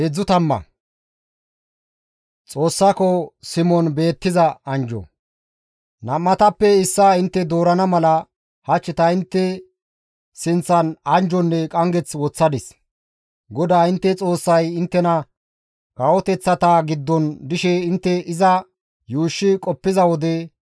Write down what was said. Nam7atappe issaa intte doorana mala hach ta intte sinththan anjjonne qanggeth woththadis; GODAA intte Xoossay inttena kawoteththata giddon dishe intte iza yuushshi qoppiza wode,